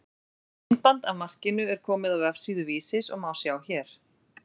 Myndband af markinu er komið á vefsíðu Vísis og má sjá hér.